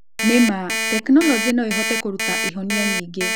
Nĩma, tekinoronjĩ no ĩhote kũruta ihonia nyingĩ.